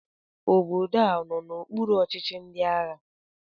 Obodo a ọ nọ n'okpuru ọchịchị ndị agha?